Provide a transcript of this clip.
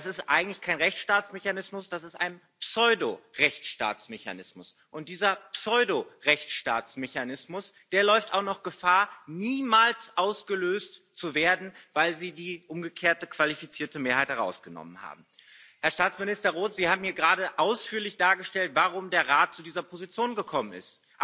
Das ist eigentlich kein Rechtsstaatsmechanismus, das ist ein Pseudo Rechtsstaatsmechanismus. Und dieser Pseudo Rechtsstaatsmechanismus, der läuft auch noch Gefahr, niemals ausgelöst zu werden, weil Sie die umgekehrte qualifizierte Mehrheit herausgenommen haben. Herr Staatsminister Roth, Sie haben hier gerade ausführlich dargelegt, warum der Rat zu dieser Position gekommen ist